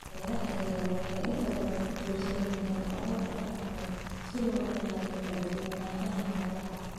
Beeraha yaryar waxay inta badan ku tiirsan yihiin abuur dhaqameed, si loo ilaaliyo kala duwanaanshaha noolaha.